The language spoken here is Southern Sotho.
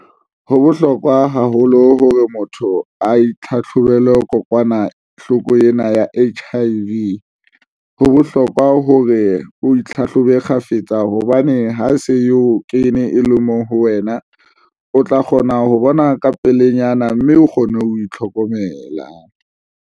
Ho bohlokwa haholo hore motho a itlhatlhobe. Kokwanahloko ena ya H_I_V ho bohlokwa hore o itlhahlobe kgafetsa hobane ha se e o kene e le mo ho wena o tla kgona ho bona ka pelenyana mme o kgone ho itlhokomela.